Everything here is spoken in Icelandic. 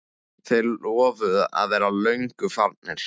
Þeir lofuðu að vera löngu farnir.